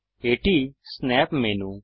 এটি snap menu